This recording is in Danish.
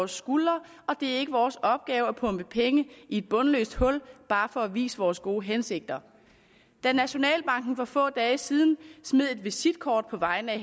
skuldre og det er ikke vores opgave at pumpe penge i et bundløst hul bare for at vise vores gode hensigter da nationalbanken for få dage siden smed et visitkort på vegne af